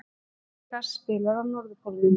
Megas spilar á Norðurpólnum